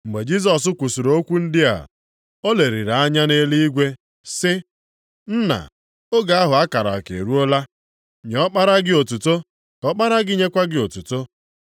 Mgbe Jisọs kwusiri okwu ndị a, o leliri anya nʼeluigwe sị, “Nna, oge ahụ a kara aka eruola, nye Ọkpara gị otuto, ka Ọkpara gị nyekwa gị otuto.